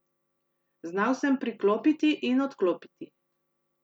Znal sem priklopiti in odklopiti.